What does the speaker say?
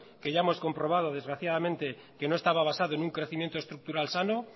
que ya hemos comprobado desgraciadamente que no estaba basado en un crecimiento estructural sano